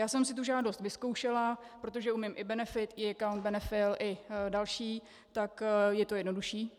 Já jsem si tu žádost vyzkoušela, protože umím i BENEFIT, eAccount, BENE-FILLL i další, tak je to jednodušší.